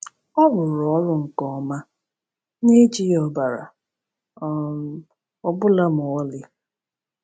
Ọ rụrụ ọrụ nke ọma — na - ejighị ọbara um ọ bụla ma ọlị.